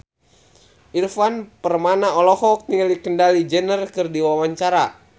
Ivan Permana olohok ningali Kendall Jenner keur diwawancara